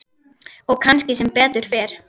Og kannski sem betur fer.